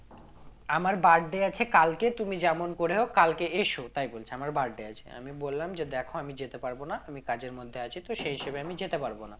আমার birthday আছে কালকে তুমি যেমন করে হোক কালকে এসো তাই বলছে আমার birthday আছে আমি বললাম যে দেখো আমি যেতে পারবো না আমি কাজের মধ্যে আছি তো সে হিসেবে আমি যেতে পারবো না